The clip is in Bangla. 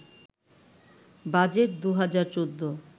বাজেট ২০১৪